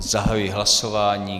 Zahajuji hlasování.